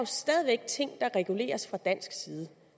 stadig væk ting der reguleres fra dansk side